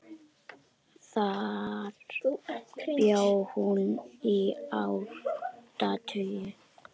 Þar bjó hún í áratug.